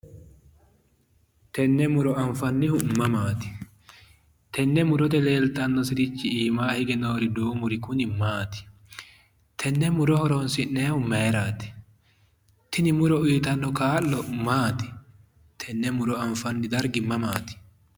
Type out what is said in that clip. Tenne muro anfannihu mamaati? Yenne murote leeltannorichi duumurichi kuni maati? Yenne muro horonsi'nayihu mayiraati? Tini muro uyitanno kaa'lo maati? Tenne muro anfanni dargi mamaati?